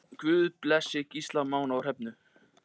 Guð blessi Gísla Má.